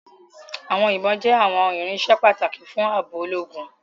Àwọn ibon jẹ àwọn irinṣẹ́ pàtàkì fún ààbò ológun